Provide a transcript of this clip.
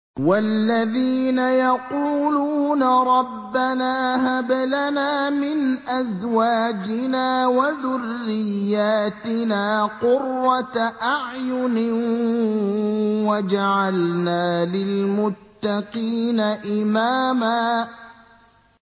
وَالَّذِينَ يَقُولُونَ رَبَّنَا هَبْ لَنَا مِنْ أَزْوَاجِنَا وَذُرِّيَّاتِنَا قُرَّةَ أَعْيُنٍ وَاجْعَلْنَا لِلْمُتَّقِينَ إِمَامًا